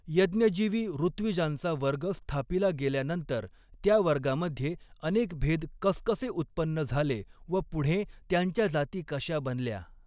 यज्ञजीवी ॠत्विजांचा वर्ग स्थापिला गेल्यानंतर त्या वर्गामध्ये अनेक भेद कसकसे उत्पन्न झाले व पुढें त्यांच्या जाती कशा बनल्या.